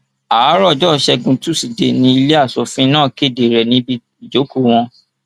àárọ ọjọ ìṣẹgun tusidee ni ilé aṣòfin náà kéde rẹ níbi ìjókòó wọn